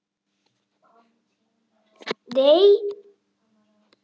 Í auganu blettur hvítur.